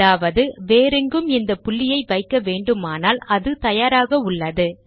அதாவது வேறெங்கும் இந்த புள்ளியை வைக்க வேண்டுமானால் அது தயாராக உள்ளது